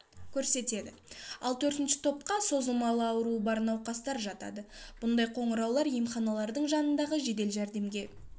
көрсетеді ал төртінші топқа созылмалы ауруы бар науқастар жатады бұндай қоңыраулар емханалардың жанындағы жедел жәрдемге